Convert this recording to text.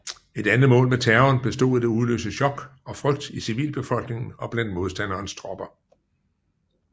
Et andet mål med terroren bestod i at udløse chok og frygt i civilbefolkningen og blandt modstanderens tropper